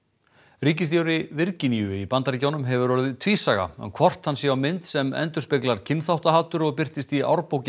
ríkisstjóri Virginíu í Bandaríkjunum hefur orðið tvísaga um hvort hann sé á mynd sem endurspeglar kynþáttahatur og birtist í